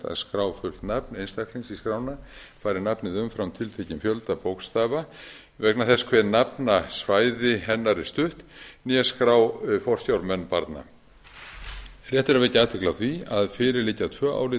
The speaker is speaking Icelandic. að skrá fullt nafn einstaklings í skrána fari nafnið umfram tiltekinn fjölda bókstafa vegna þess hve nafnasvæði hennar er stutt né skrá forsjármenn barna rétt er að vekja athygli á því að fyrir liggja tvö álit